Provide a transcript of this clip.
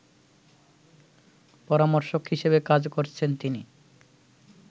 পরামর্শক হিসেবে কাজ করছেন তিনি